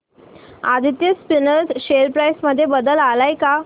Aditya Spinners share price मध्ये बदल आलाय का